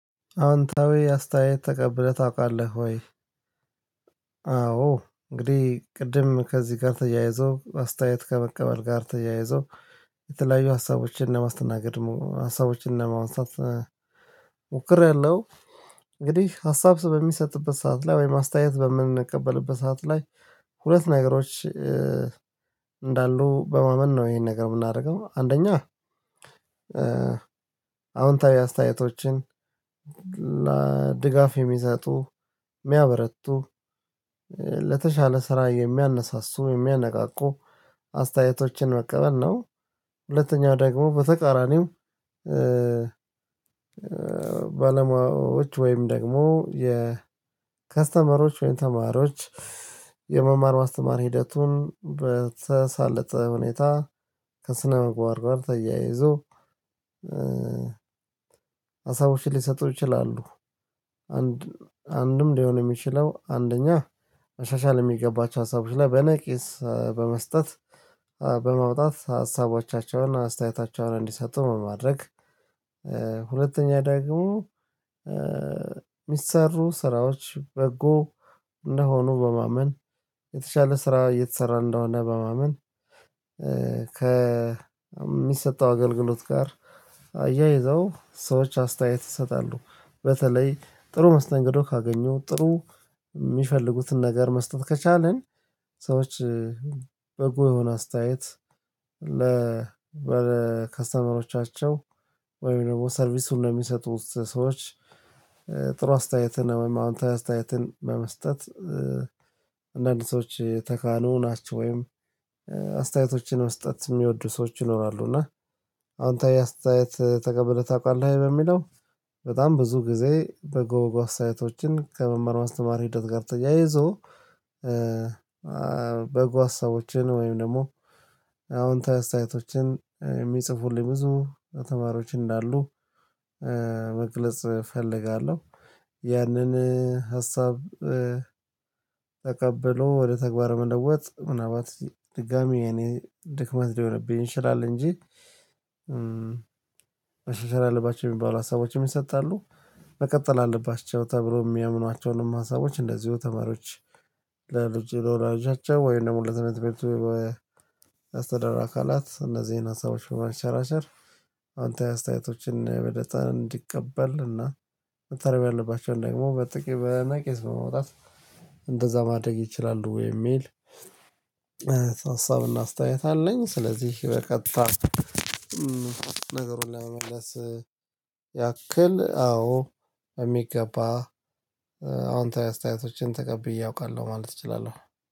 አዎንታዊ አስተያየት ተቀብለህ ታውቃለህ ወይ? አዎ እንግዴ ቅድም ከዚ ጋር ተያይዞ አስተያየት ከመቀበል ጋር ተያይዞ የተለያዩ ሀሳቦችን ለማስተናገድ ሀሳቦችን ለማንሳት ሞክሬያለው። እንግዲህ ሀሳብ በሚሰጥበት ሰዓት ላይ ወይም አስተያየት በምንቀበልበት ሰዓት ላይ ሁለት ነገሮች እንዳሉ በማመን ነው ይሄን ነገር ምናረገው አንደኛ አዎንታዊ አስተያየቶችን ድጋፍ የሚሰጡ ሚያበረቱ ለተሻለ ስራ የሚያነሳሱ የሚያነቃቁ አስተያየቶችን መቀበል ነው። ሁለተኛው ደግሞ በተቃራኒው ባለሙያዎች ወይም ደግሞ የከስተመሮች ወይም ተማሪዎች የመማር ማስተማር ሂደቱን በተሳለጠ ሁኔታ ከስነምግባር ጋር ተያይዞ ሀሳቦችን ሊሰጡ ይችላሉ። አንድ አንድም ሊሆን የሚችለው አንደኛ መሻሻል የሚገባቸው ሀሳቦች ላይ በነቂስ በመስጠት በማውጣት ሀሳቦቻቸውን አስተያየታቸውን እንዲሰጡ በማድረግ። ሁለተኛ ዳግሞ ሚሰሩ ስራዎች በጎ እንደሆኑ በማመን የተሻለ ስራ እየተሰራ እንደሆነ በማመን። ከሚሰጠው አገልግሎት ጋር አያይዘው ሰዎች አስተያየት ይሰጣሉ በተለይ ጥሩ መስተንግዶ ካገኙ ጥሩ ሚፈልጉትን ነገር መስጠት ከቻልን። ሰዎች በጎ የሆነ አስተያየት ለ ከስተመሮቻቸው ወይም ደሞ ሰርቪሱን ለሚሰጡት ሰዎች። ጥሩ አስተያየትን ወይም አዎንታዊ አስተያየትን በመስጠት አንዳንድ ሰዎች የተካኑ ናቸው ወይም አስተያየቶችን መስጠት ሚወዱ ሰዎች ይኖራሉ። እና አዎንታዊ አስተያየት ተቀብለህ ታውቃለህ ለሚለው? በጣም ብዙ ጊዜ በጎ አስተያየቶችን ከመማር ማስተማር ሂደት ጋር ተያይዞ በጎ ሀሳቦችን ወይም ደሞ አዎንታዊ አስተያየቶችን የሚጽፉልኝ ብዙ ተማሪዎች እንዳሉ መግለጽ እፈልጋለው። ያንን ሀሳብ ተቀብሎ ወደ ተግባር መለወጥ ምናልባት ድጋሚ የኔ ድክመት ሊሆንብኝ ይችላል እንጂ። መሻሻል አለባቸው ሚባሉ ሀሳቦችም ይሰጣሉ። መቀጠል አለባቸው ተብሎ ሚያምኗቸውንም ሀሳቦች እንደዚሁ ተማሪዎች ለወላጆቻቸው ወይም ደሞ ለትምርት ቤቱ የአስተዳደር አካላት እነዚህን ሀሳቦች በማሸራሸር አዎንታዊ አስተያየቶችን በነፃ እንዲቀበል እና መታረም ያለባቸውን ደግሞ በነቂስ በማውጣት እንደዛ ማድረግ ይችላሉ። የሚል ሀሳብና አስተያየት አለኝ። ስለዚህ በቀጥታ ነገሩን ለመመለስ ያክል አዎ በሚገባ አዎንታዊ አስተያየቶችን ተቀብዬ አውቃለዌ ማለት እችላለሁ